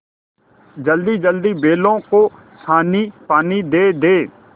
जल्दीजल्दी बैलों को सानीपानी दे दें